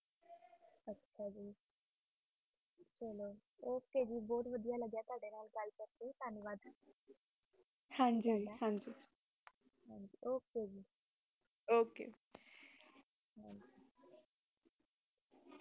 ਵੱਡੀਆਂ ਲਗਾ okay ਗੱਲ ਕਰ ਕ ਹਨ ਜੀ ਹਨ ਜੀ okay ਜੀ ਉੱਕ